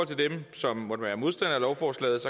til dem som måtte være modstandere af lovforslaget